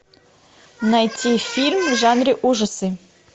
найти фильм в жанре ужасы